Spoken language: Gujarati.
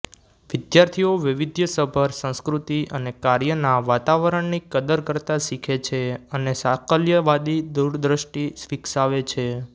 વિદ્યાર્થીઓ વૈવિધ્યસભર સંસ્કૃતિ અને કાર્યના વાતાવરણની કદર કરતા શીખે છે અને સાકલ્યવાદી દૂરદ્રષ્ટિ વિકસાવે છે